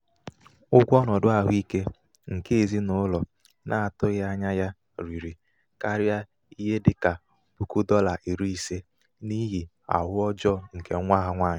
ụgwọ ọnọdụ ahụike nke ezinaụlọ n'atụghị ányá ya rịrị karia n'ihe di.la puku dọla iri ise n'ihi ahụ ọjọọ nke nwa ha nwanyị um